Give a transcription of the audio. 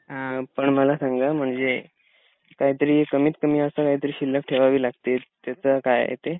आं पण मला सांगा म्हणजे काहीतरी कमीतकमी असं काहीतरी शिल्लक ठेवावी लागतीच. त्याच काय आहे ते?